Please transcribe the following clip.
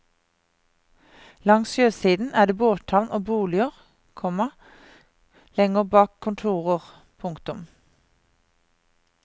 Langs sjøsiden er det båthavn og boliger, komma lenger bak kontorer. punktum